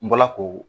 N bɔla k'o